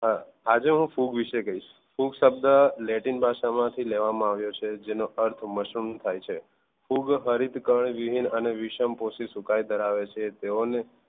આજે હું ફૂગ વિશે કહીશ ફૂગ શબ્દ latin ભાષા માંથી લેવામાંઆવ્યો છે જેનો અર્થ મશરુમ થાય છે ફૂગ હરીતક્ણ વિહીન અને વિષમપોષી સુકાય ધરાવે છે તેઓને